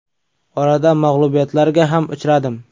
Orada mag‘lubiyatlarga ham uchradim.